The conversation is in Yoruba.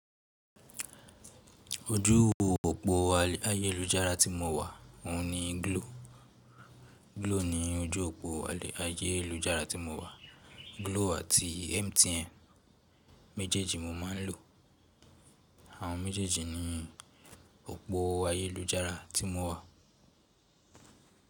Ojú òpó ayélujára tí mo wà, òun ni Glo. Glo ni ojú òpó ayélujára tí mo wà. Glo àti MTN méjèèjì mo máa ń lò. Àwọn méjèèjì ni òpó ayélujára tí mo wà.